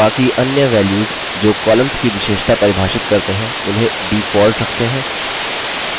बाकी अन्य values जो columns की विशेषता परिभाषित करते हैं उन्हें default रखते हैं